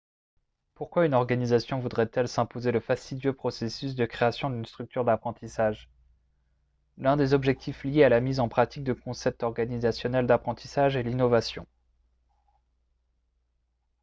pourquoi une organisation voudrait-elle s’imposer le fastidieux processus de création d’une structure d’apprentissage ? l’un des objectifs liés à la mise en pratique de concepts organisationnels d’apprentissage est l’innovation